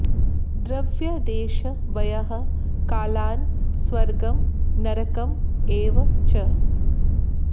द्रव्य देश वयः कालान् स्वर्गं नरकम् एव च